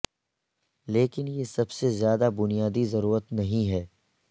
لیکن یہ سب سے زیادہ بنیادی ضرورت نہیں ہے